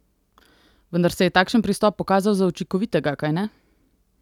Vendar se je takšen pristop pokazal za učinkovitega, kajne?